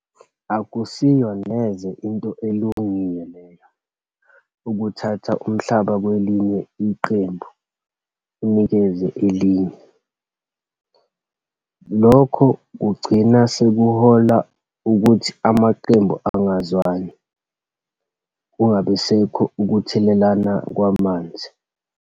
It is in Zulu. Akusiyo neze into elungile leyo, ukuthatha umhlaba kwelinye iqembu unikeze elinye. Lokho kugcina sekuhola ukuthi amaqembu angazwani, kungabisekho ukuthelelana kwamanzi.